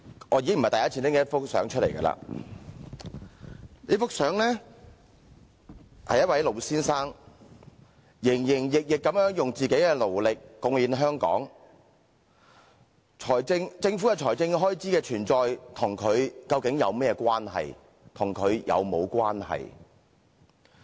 我已經不是第一次拿出這幅相片，這幅相片裏是一名老先生，他營營役役地用自己的勞力貢獻香港，政府財政開支的存在和他究竟有甚麼關係？